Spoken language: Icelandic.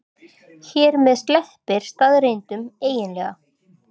Hér með sleppir staðreyndunum eiginlega.